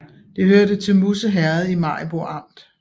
Det hørte til Musse Herred i Maribo Amt